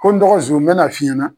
Ko n dɔgɔ zon n bɛna f'i ɲɛna.